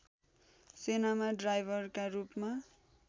सेनामा ड्राइभरका रूपमा